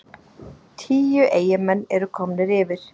Tíu Eyjamenn eru komnir yfir!